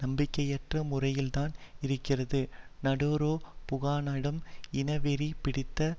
நம்பிக்கையற்ற முறையில்தான் இருக்கிறது நாடெரோ புகானனிடம் இனவெறி பிடித்த